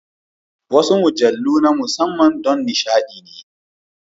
Wasu mujallu na musamman don nishaɗi ne.